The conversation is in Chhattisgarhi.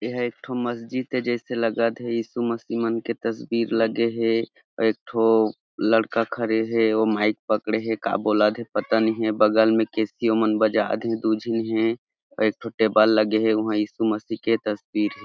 ए ह एक ठो मस्जिद जैसे लगत हे यीशु मशीह मन के तस्वीर लगे हे और एक ठो लड़का खड़े हे ओ माइक पकड़े हे का बोलत हे पता नहीं हे बगल में केशिओमन बजात हे दू जिन हे और एक ठो टेबल लगे हे उंहा यीशु मशीह के तस्वीर हे।